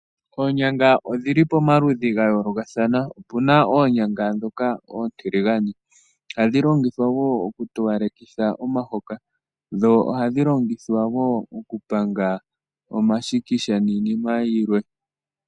Oonyanga odhili pamaludhi ga yoolokathana, opuna oonyanga ndhoka oontiligane ohadhi longithwa wo oku towaleka omahoka, dho ohadhi longithwa wo okupanga omashikisha niinima yilwe.